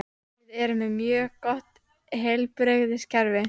Við erum með mjög gott heilbrigðiskerfi.